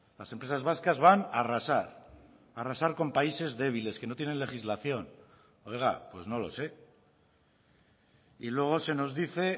las empresas vascas van a arrasar a arrasar con países débiles que no tienen legislación oiga pues no lo sé y luego se nos dice